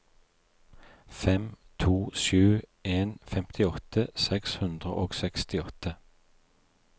fem to sju en femtiåtte seks hundre og sekstiåtte